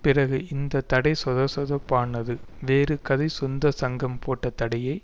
பிறகு இந்த தடை சொதசொதப்பானது வேறு கதை சொந்த சங்கம் போட்ட தடையே